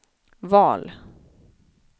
val